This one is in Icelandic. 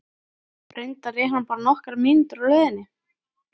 Reyndar er hann bara nokkrar mínútur á leiðinni.